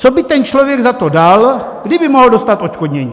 Co by ten člověk za to dal, kdyby mohl dostat odškodnění.